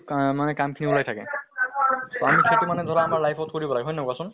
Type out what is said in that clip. কা মানে কাম খিনি উলাই থাকে। আমি সেইটো মানে ধৰা আমাৰ life ত কৰিব লাগে। হয় নে নহয় কোৱা চোন?